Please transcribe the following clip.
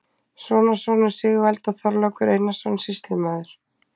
Sonarsonur Sigvalda, Þorlákur Einarsson, sýslumaður